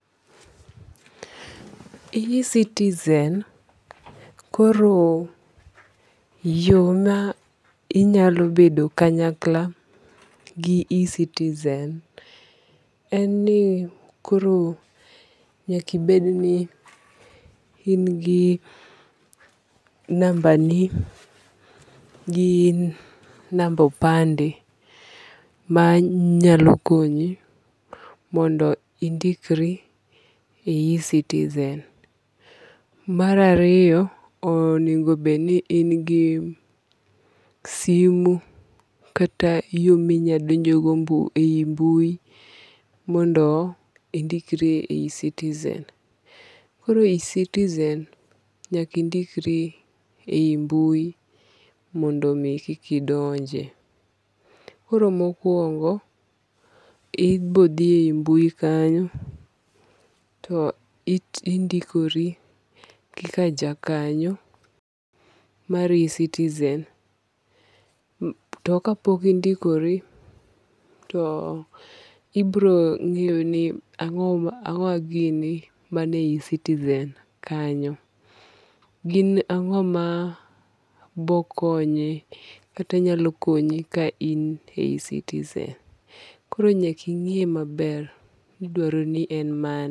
e-citizen koro yo ma inyalo bedo kanyakla gi e-citizen en ni koro nyakibed ni in gi namba ni gi namba opande ma nyalo konyi mondo indikri e e-citizen. Mar ariyo, onego bed ni in gi simo kata yo minyalo donjo go e yi mbui mondo indikri e e-citizen. Koro e yi e-citizen nyaka indikri e yi mbui mondo mi koki donje. Koro mokwongo ibodhi e yi mbuyi kanyo to indikori kaka ja kanyo mar e-citizen. To kapok indikori to ibirong'eyo ni ang'owa gini ma ni e yi e-citizen kanyo. Gin ang'omana bokonye kata nyalokonyi ka in e yi e-citizen. Koro nyaka ing'iye maber midwaro ni en mane.